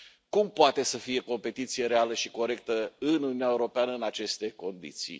Cum poate să fie competiție reală și corectă în Uniunea Europeană în aceste condiții?